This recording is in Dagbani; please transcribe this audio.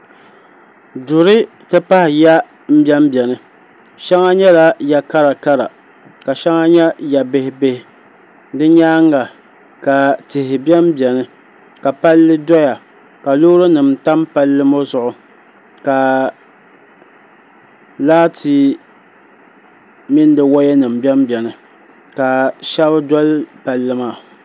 duri ti pahi ya m-bem beni shɛŋa nyɛla ya'karakara ka shɛŋa nyɛ ya'bihi di nyaanga ka tihi bem beni ka palli doya ka loorinima tam palli ŋɔ zuɣu ka laati mini di wayanima bem beni ka shɛba doli palli maa